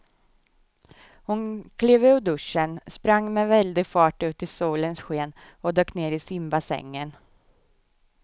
Hon klev ur duschen, sprang med väldig fart ut i solens sken och dök ner i simbassängen.